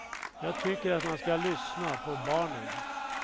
Jag tycker att man ska lyssna på barnen.